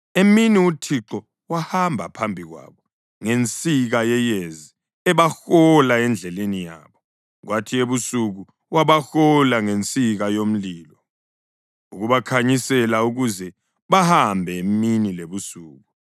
Emini uThixo wahamba phambi kwabo ngensika yeyezi ebahola endleleni yabo, kwathi ebusuku wabahola ngensika yomlilo ukubakhanyisela ukuze bahambe emini lebusuku.